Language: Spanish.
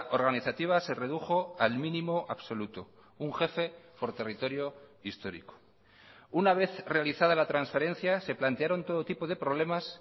organizativa se redujo al mínimo absoluto un jefe por territorio histórico una vez realizada la transferencia se plantearon todo tipo de problemas